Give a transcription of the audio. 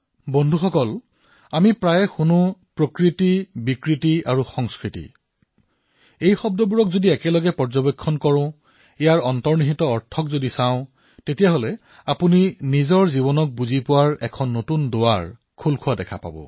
বন্ধুসকল আমি প্ৰায়েই শুনা পাও প্ৰকৃতি বিকৃতি আৰু সংস্কৃতি এই শব্দসমূহক একেটা ৰেখাতে প্ৰত্যক্ষ কৰিলে ইয়াৰ অন্তৰালত থকা অৰ্থসমূহ নিজৰ জীৱনতো প্ৰয়োগ কৰাৰ এক নতুন দুৱাৰ মুকলি হব